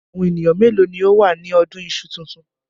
Àwọn ènìyàn mélòó ni ó wà ní ọdún iṣu tuntun?